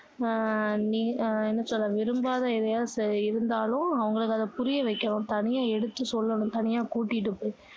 ஆஹ் நீ என்ன சொல்ல விரும்பாத எதாவது இருந்தாலும் அவங்களுக்கு அதை புரிய வைக்கணும் தனியா எடுத்து சொல்லணும் தனியா கூட்டிட்டு போய்